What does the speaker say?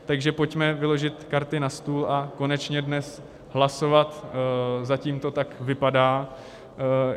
Takže pojďme vyložit karty na stůl a konečně dnes hlasovat, zatím to tak vypadá.